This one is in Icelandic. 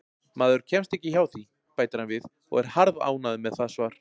Maður kemst ekki hjá því, bætir hann við og er harðánægður með það svar.